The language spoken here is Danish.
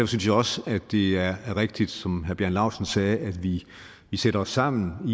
synes jeg også at det er rigtigt som herre bjarne laustsen sagde at vi sætter os sammen